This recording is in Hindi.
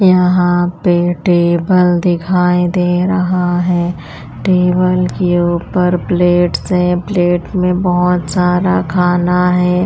यहाँ पे टेबल दिखाई दे रहा है टेबल के ऊपर प्लेट्स है प्लेट में बहुत सारा खाना है।